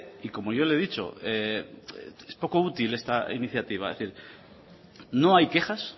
y como yo le he dicho es poco útil esta iniciativa es decir no hay quejas